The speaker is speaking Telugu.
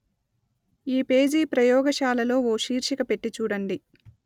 ఈ పేజీ ప్రయోగశాల లో ఓ శీర్షిక పెట్టి చూడండి